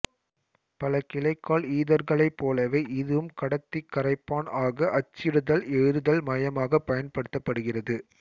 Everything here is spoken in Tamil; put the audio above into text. பல கிளைக்கால் ஈதர்களைப் போலவே இதுவும் கடத்திகரைப்பான் ஆக அச்சிடுதல்எழுதுதல் மையாகப் பயன்படுத்தப்படுகிறது